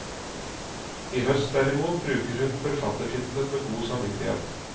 I høst derimot bruker hun forfattertittelen med god samvittighet.